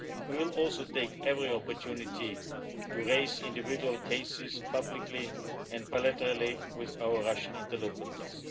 We will also take every opportunity to raise individual cases publicly and bilaterally with our Russian interlocutors.